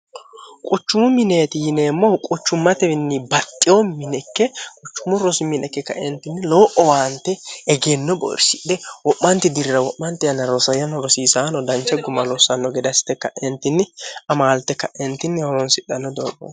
quchumu mineeti yineemmohu quchummatewinni baxxiyo minekke quchumu rosiminekke kaeentinni lowo owaante egeenno boyirsidhe wo'maanti dirra wo'mante ana rosayyano rosiisaano dancha guma lossanno gedassite kaeentinni amaalte ka'eentinni horonsidhanno dooo